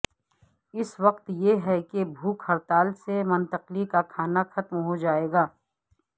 اس وقت یہ ہے کہ بھوک ہڑتال سے منتقلی کا کھانا ختم ہوجائے گا